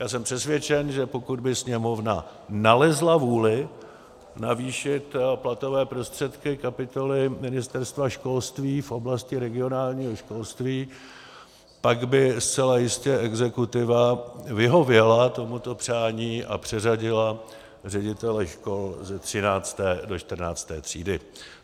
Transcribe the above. Já jsem přesvědčen, že pokud by Sněmovna nalezla vůli navýšit platové prostředky kapitoly Ministerstva školství v oblasti regionálního školství, pak by zcela jistě exekutiva vyhověla tomuto přání a přeřadila ředitele škol ze 13. do 14. třídy.